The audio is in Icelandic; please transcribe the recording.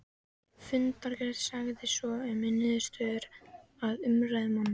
Í fundargerð sagði svo um niðurstöðu af umræðum manna